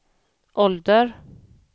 ålder